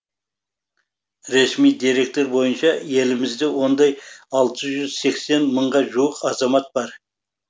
ресми деректер бойынша елімізде ондай алты жүз сексен мыңға жуық азамат бар